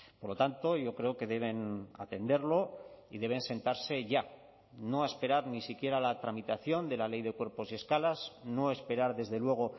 por lo tanto yo creo que deben atenderlo y deben sentarse ya no esperar ni siquiera a la tramitación de la ley de cuerpos y escalas no esperar desde luego